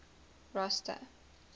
rosta